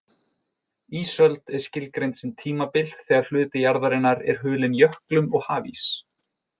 Ísöld er skilgreind sem tímabil þegar hluti jarðarinnar er hulinn jöklum og hafís.